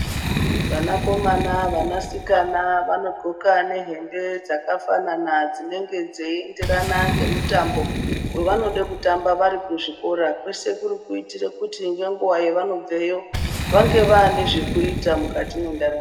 Vana komana vana sikana vano ndxoka ne hembe dzaka fanana dzinenge dzei enderera nge mutambo wa vanode kutamba vari ku zvikora kwese kuri kuitire kuti nge nguva ya vano bveyo vange vane zvekuita mukati mwe ndaramo.